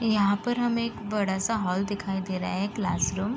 यहाँ पर हमे एक बड़ा सा हॉल दिखाई दे रहा है क्लास रूम ।